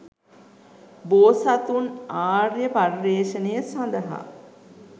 බෝසතුන් ආර්ය පර්යේෂණය සඳහා